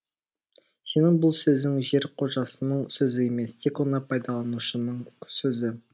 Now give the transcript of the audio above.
сенің бұл сөзің жер қожасының сөзі емес тек оны пайдаланушының сөзі